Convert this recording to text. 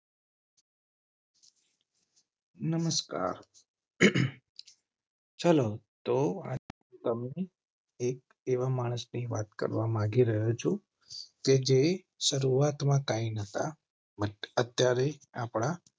નમસ્કાર. ચલો તો. એવા માણસની વાત કરવા માગી રહ્યો. જો કે જે શરૂઆત માં કઈ નાતા પણ અત્યારે આપણા